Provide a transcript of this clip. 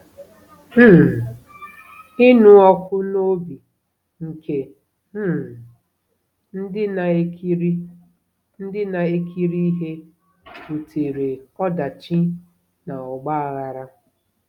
um Ịnụ ọkụ n'obi nke um ndị na-ekiri ndị na-ekiri ihe butere ọdachi na ọgba aghara.